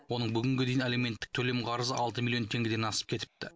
оның бүгінге дейін алименттік төлем қарызы алты миллион теңгеден асып кетіпті